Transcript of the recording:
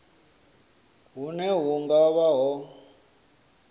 hune hu nga vha ho